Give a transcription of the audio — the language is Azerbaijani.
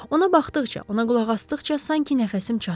Ona baxdıqca, ona qulaq asdıqca sanki nəfəsim çatmır.